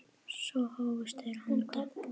Svo hófust þeir handa.